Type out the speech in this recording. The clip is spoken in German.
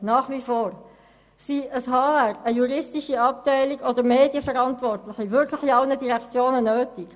Sind eine HR-Abteilung, eine juristische Abteilung oder eine Medienstelle wirklich in allen Direktionen nötig?